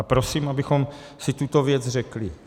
A prosím, abychom si tuto věc řekli.